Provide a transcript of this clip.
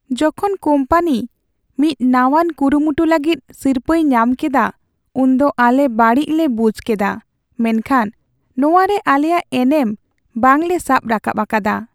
ᱡᱚᱠᱷᱚᱱ ᱠᱚᱢᱯᱟᱱᱤ ᱢᱤᱫ ᱱᱟᱶᱟᱱ ᱠᱩᱨᱩᱢᱩᱴᱩ ᱞᱟᱹᱜᱤᱫ ᱥᱤᱨᱯᱟᱹᱭ ᱧᱟᱢ ᱠᱮᱫᱟ ᱩᱱᱫᱚ ᱟᱞᱮ ᱵᱟᱹᱲᱤᱡ ᱞᱮ ᱵᱩᱡ ᱠᱮᱫᱟ ᱢᱮᱱᱠᱷᱟᱱ ᱱᱚᱶᱟᱨᱮ ᱟᱞᱮᱭᱟᱜ ᱮᱱᱮᱢ ᱵᱟᱝ ᱞᱮ ᱥᱟᱵ ᱨᱟᱠᱟᱵ ᱟᱠᱟᱫᱟ ᱾